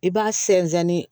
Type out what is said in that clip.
I b'a sɛnsɛn